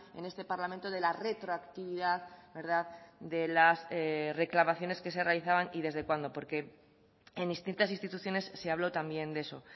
en este parlamento de la retroactividad de las reclamaciones que se realizaban y desde cuándo porque en distintas instituciones se habló también de eso